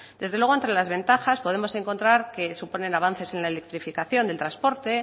desde luego entre las ventajas podemos encontrar que supone un avance sin electrificación en transporte